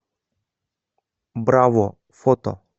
браво фото